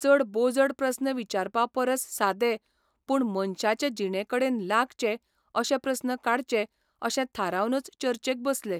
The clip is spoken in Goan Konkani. चड बोजड प्रस्न विचारपा परस सादे, पूण मनशाचे जिणेकडेन लागचे अशे प्रस्न काडचे अशें थारावनच चर्चेक बसले.